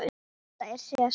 Þetta er Sesar.